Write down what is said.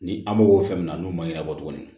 Ni an mago b'o fɛn min na n'o ma ɲɛnabɔ tuguni